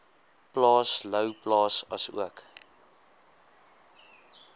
plaas louwplaas asook